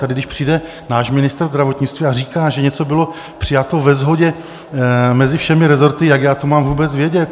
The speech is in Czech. Tady když přijde náš ministr zdravotnictví a říká, že něco byl přijato ve shodě mezi všemi resorty, jak já to mám vůbec vědět?